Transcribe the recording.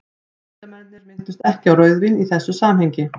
vísindamennirnir minntust ekki á rauðvín í þessu samhengi